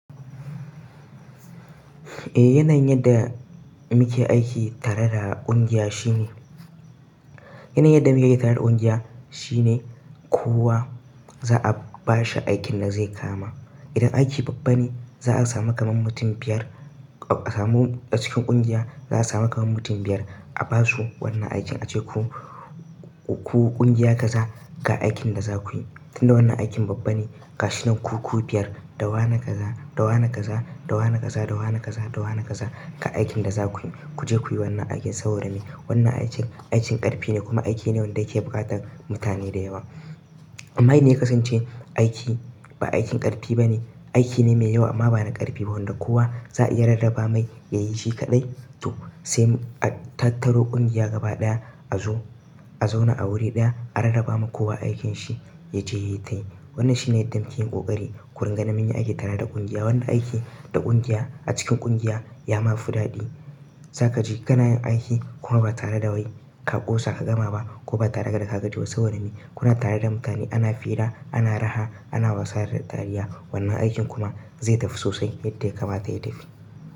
Eh yanayin yadda muke aiki tare da ƙungiya shine, yanayin yadda muke aiki tare da ƙungiya shine kowa za'a bashi aikin da zai kama. Idan aiki babba ne za'a samu kaman mutum biyar a samu a cikin ƙungiya za'a samu kaman mutum biyar a basu wannan aikin ace ku, ku ƙungiya kaza ga aikin da za kuyi. Tun da wannan aikin babba ne gashinan kuku biyar dawa na kaza, da wane kaza, da wane kaza, da wane kaza, da wana kaza ga aikin daza kuyi. Kuje kuyi wannan aikin saboda me, wannan aikin, aikin ƙarfi ne kuma aiki ne wanda yake bukatar mutane da yawa. Amma indai yakasance aikin ba aikin ƙarfi ba ne, aiki ne mai yawa amma ba na ƙarfi ba wanda kowa za a iya rarraba mai yayi shi kaɗai to sai a tattaro ƙungiya gaba ɗaya azo a zauna a guri ɗaya a rarraba ma kowa aikinshi yaje yayi tayi. Wannan shine yadda muke yin ƙoƙari. Gurin ganin munyi aiki tare da ƙungiya. Wannan aiki da ƙungiya a cikin ƙungiya yama fi daɗi. Zaka ji kana yin aiki kuma ba tare dawai ka ƙosa ka gama ba ko ba tare da ka gajiba saboda me? Kuna tare da mutane ana fira, ana raha, ana wasa da dariya wannan aikin kuma zai tafi sosai yadda ya kamata ya tafi.